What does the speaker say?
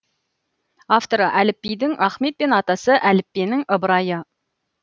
әліпбидің ахмет пен атасы әліппенің ыбырай ды